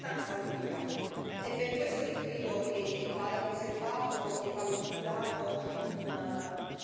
È per questo che credo che vada preservato e valorizzato quanto più possiamo.